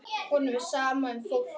Honum er sama um fólk.